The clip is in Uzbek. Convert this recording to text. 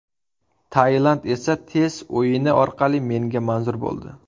Tailand esa tez o‘yini orqali menga manzur bo‘ldi.